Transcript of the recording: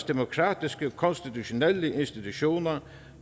demokratiske konstitutionelle institutioner